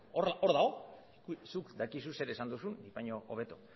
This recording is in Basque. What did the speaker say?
hor dago zuk dakizu zer esan duzun baina hobeto